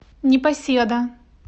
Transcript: непоседа